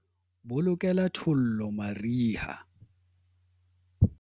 bolokela thollo mariha